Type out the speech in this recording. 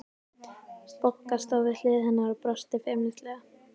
Bogga stóð við hlið hennar og brosti feimnislega.